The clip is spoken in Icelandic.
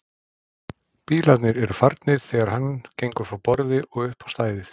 Bílarnir eru farnir þegar hann gengur frá borði og upp á stæðið.